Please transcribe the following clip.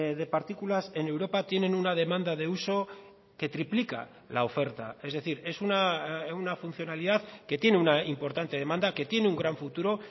de partículas en europa tienen una demanda de uso que triplica la oferta es decir es una funcionalidad que tiene una importante demanda que tiene un gran futuro